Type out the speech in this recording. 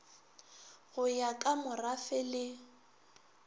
go ya ka morafe le